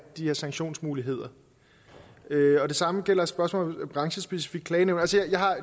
de her sanktionsmuligheder det samme gælder spørgsmålet om branchespecifikke klagenævn